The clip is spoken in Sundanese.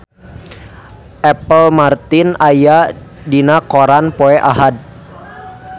Apple Martin aya dina koran poe Ahad